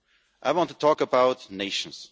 I want to talk about nations.